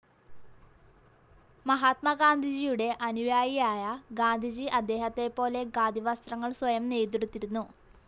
മഹാത്മാഗാന്ധിയുടെ അനുയായിയായ ജാനകി അദ്ദേഹത്തെപ്പോലെ ഖാദി വസ്ത്രങ്ങൾ സ്വയം നെയ്തെടുത്തിരുന്നു.